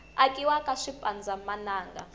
akiwa ka swipanza mananga